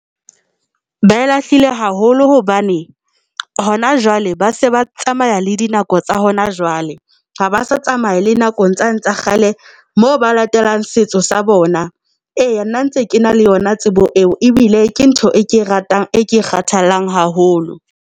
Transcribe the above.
Ba e lahlile haholo hobane hona jwale ba se ba tsamaya le dinako tsa hona jwale ha ba sa tsamaya le nakong tsane tsa kgale moo ba latelang setso sa bona. Eya, nna ntse ke na le yona tsebo eo ebile ke ntho e ke ratang, e ke kgathallang haholo.